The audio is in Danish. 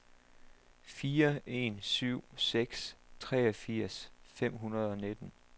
fire en syv seks treogfirs fem hundrede og nitten